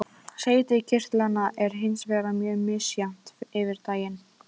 Tólfan vill að áhorfendur upplifi stemningu eins og á sér stað á Laugardalsvelli á leikdegi.